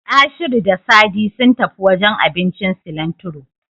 Ashiru da Sadi sun tafi wajen abincin Silantiro.